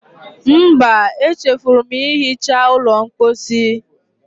Mba, echefuru m ihicha ụlọ mposi.